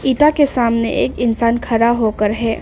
के सामने एक इंसान खड़ा होकर है।